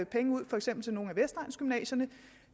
penge ud for eksempel til nogle af vestegnsgymnasierne